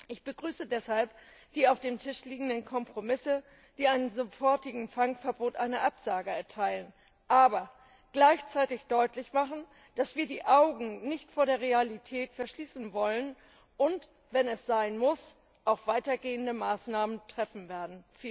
Ich begrüße deshalb die auf dem Tisch liegenden Kompromisse, die einem sofortigen Fangverbot eine Absage erteilen, aber gleichzeitig deutlich machen, dass wir die Augen nicht vor der Realität verschließen wollen und wenn es sein muss auch weitergehende Maßnahmen treffen werden.